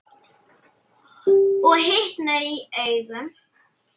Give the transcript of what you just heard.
Og hitnaði í augum.